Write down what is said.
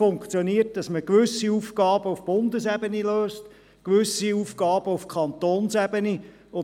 Sie funktioniert so, dass man gewisse Aufgaben auf Bundesebene und gewisse Aufgaben auf Kantonsebene löst.